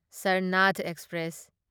Sarnath express